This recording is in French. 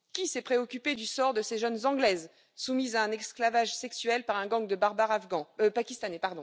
Qui s'est préoccupé du sort de ces jeunes Anglaises soumises à un esclavage sexuel par un gang de barbares pakistanais?